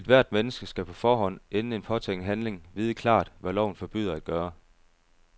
Ethvert menneske skal på forhånd, inden en påtænkt handling, vide klart, hvad loven forbyder at gøre.